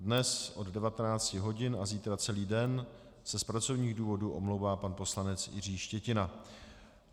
Dnes od 19. hodin a zítra celý den se z pracovních důvodů omlouvá pan poslanec Jiří Štětina.